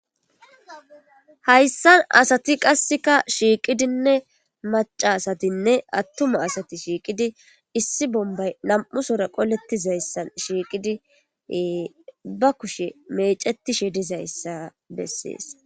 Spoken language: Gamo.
hayssan asati qasseka shiiqidinne macasatinne attuma asati shiiqidi issi bombay nam7u sora qoletizayssan shiiqidi ba kushe mecetishe dizayssa bessees